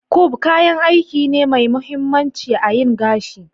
"comb" kayan aiki ne Mai mahimmanci a yin gashi